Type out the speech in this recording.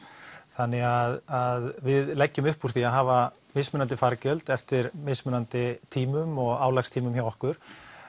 þannig að við leggjum upp úr því að hafa mismunandi fargjöld eftir mismunandi tímum og álagstímum hjá okkur